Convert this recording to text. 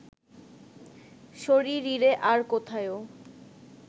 শরীরিরে আর কোথায়ও